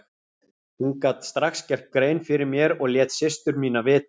Hún gat strax gert grein fyrir mér og lét systur mína vita.